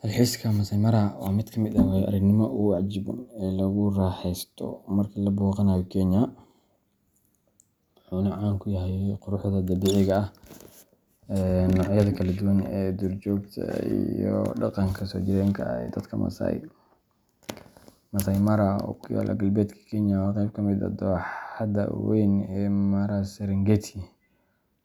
Dalxiiska Masai Mara waa mid ka mid ah waayo-aragnimada ugu cajiibsan ee lagu raaxaysto marka la booqanayo Kenya, wuxuuna caan ku yahay quruxda dabiiciga ah, noocyada kala duwan ee duurjoogta, iyo dhaqanka soo jireenka ah ee dadka Maasai. Masai Mara, oo ku yaalla galbeedka Kenya, waa qayb ka mid ah dooxada weyn ee Mara-Serengeti,